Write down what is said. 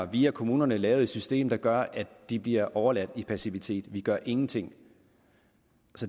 via kommunerne lavet et system der gør at de bliver overladt til passivitet for vi gør ingenting